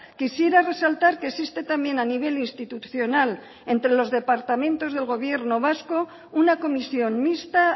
quisiera resaltar que existe también a nivel institucional entre los departamentos del gobierno vasco una comisión mixta